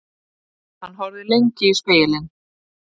Hann horfði lengi í spegilinn.